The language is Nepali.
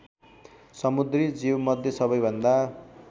समुद्री जीवमध्ये सबैभन्दा